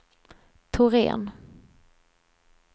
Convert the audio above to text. Thorén